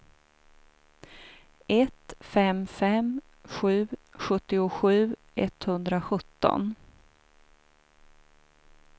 ett fem fem sju sjuttiosju etthundrasjutton